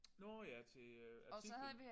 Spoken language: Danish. Nåh ja til øh artiklen